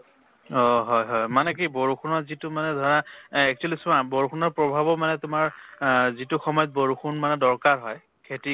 অহ, হয় হয়। মানে কি বৰষুণৰ যিটো মানে ধৰা actually চোৱা বৰষুণৰ প্ৰভাব মানে তোমাৰ আহ যিটো সময়ত বৰষুণ মানে দৰকাৰ হয় খেতি